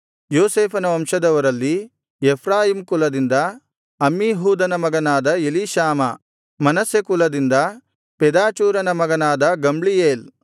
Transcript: ಯೋಸೇಫನ ವಂಶದವರಲ್ಲಿ ಎಫ್ರಾಯೀಮ್ ಕುಲದಿಂದ ಅಮ್ಮೀಹೂದನ ಮಗನಾದ ಎಲೀಷಾಮಾ ಮನಸ್ಸೆ ಕುಲದಿಂದ ಪೆದಾಚೂರನ ಮಗನಾದ ಗಮ್ಲೀಯೇಲ್